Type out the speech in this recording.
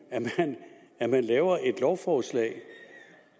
er man laver et lovforslag